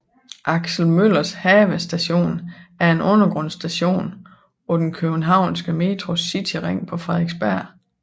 Aksel Møllers Have Station er en undergrundsstation på den københavnske Metros cityring på Frederiksberg